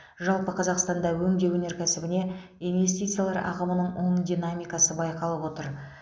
жалпы қазақстанда өңдеу өнеркәсібіне инвестициялар ағымының оң динамикасы байқалып отыр